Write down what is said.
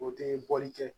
O tɛ bɔli kɛ